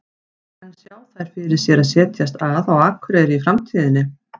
En sjá þær fyrir sér að setjast að á Akureyri í framtíðinni?